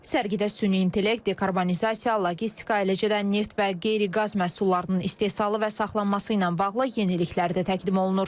Sərgidə süni intellekt, dekarbonizasiya, logistika, eləcə də neft və qeyri-qaz məhsullarının istehsalı və saxlanması ilə bağlı yeniliklər də təqdim olunur.